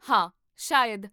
ਹਾਂ, ਸ਼ਾਇਦ